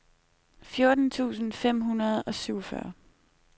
fjorten tusind fem hundrede og syvogfyrre